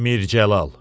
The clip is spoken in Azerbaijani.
Mir Cəlal.